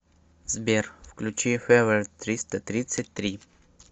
сбер включи февер триста тридцать три